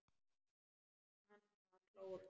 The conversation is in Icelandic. Kann að klóra.